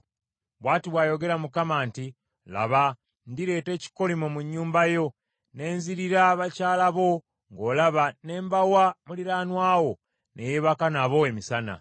“Bw’ati bw’ayogera Mukama nti, ‘Laba, ndireeta ekikolimo mu nnyumba yo, ne nzirira bakyala bo ng’olaba ne mbawa muliraanwa wo, ne yeebaka nabo emisana.